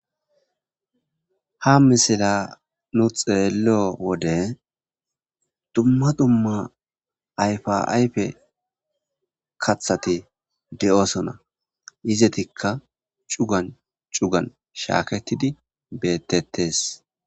Ha misilla nuu xeello wode dumma dumma ayfa ayfe kaththati de'osona izetikka cugan cugan shaaketidi bettettees